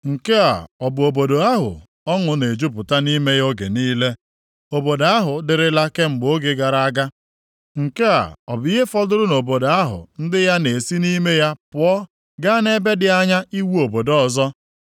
Nke a ọ bụ obodo ahụ ọṅụ na-ejupụta nʼime ya oge niile? Obodo ahụ dịrịla kemgbe oge gara aga? Nke a ọ bụ ihe fọdụrụ nʼobodo ahụ ndị ya na-esi nʼime ya pụọ gaa nʼebe dị anya iwu obodo ọzọ?